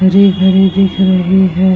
हरे-भरे दिख रहे हैं ।